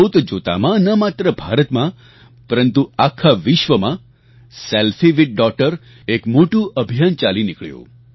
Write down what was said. જોતજોતામાં ન માત્ર ભારતમાં પરંતુ આખા વિશ્વમાં સેલ્ફી વિથ ડોગટર એક મોટું અભિયાન ચાલી નીકળ્યું